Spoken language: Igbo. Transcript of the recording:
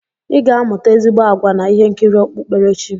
I ga-amụta ezigbo àgwà na ihe nkiri okpukperechi.